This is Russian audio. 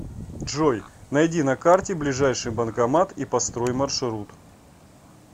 джой найди на карте ближайший банкомат и построй маршрут